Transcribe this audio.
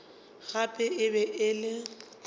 gape e be e le